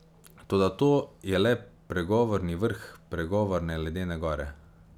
Toda to je le pregovorni vrh pregovorne ledene gore.